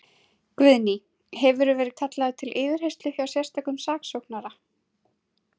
Guðný: Hefurðu verið kallaður til yfirheyrslu hjá sérstökum saksóknara?